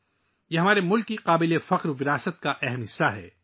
یہ ہمارے ملک کے شاندار ورثے کا ایک اہم حصہ ہے